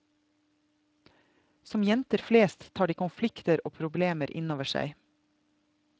Som jenter flest tar de konflikter og problemer innover seg.